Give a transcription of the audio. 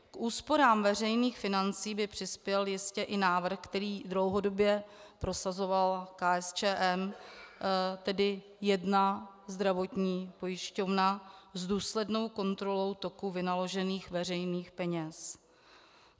K úsporám veřejných financí by přispěl jistě i návrh, který dlouhodobě prosazovala KSČM, tedy jedna zdravotní pojišťovna s důslednou kontrolou toku vynaložených veřejných peněz.